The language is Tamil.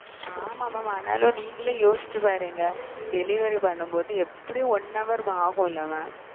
ஆமாம் mam ஆனாலும் நீங்களே யோசிச்சு பாருங்க டெலிவரி பண்ணும்போது எப்படியும் one hour ஆகும்ல மா?